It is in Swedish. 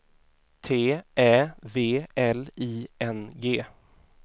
T Ä V L I N G